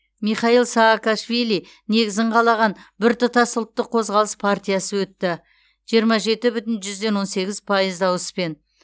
михаил саакашвили негізін қалаған біртұтас ұлттық қозғалыс партиясы өтті жиырма жеті бүтін жүзден он сегіз пайыз дауыспен